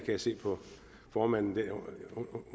jeg se på formanden